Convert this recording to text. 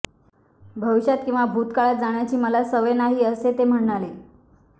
भविष्यात किंवा भुतकाळात जगण्याची मला सवय नाही असे ते म्हणाले